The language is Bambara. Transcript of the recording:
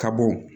Ka bɔ